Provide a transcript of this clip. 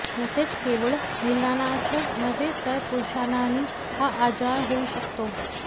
तसेच केवळ महिलांनाच नव्हे तर पुरुषांनाही हा आजार होऊ शकतो